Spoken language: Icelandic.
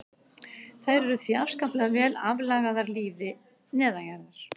Þær eru því afskaplega vel aðlagaðar lífi neðanjarðar.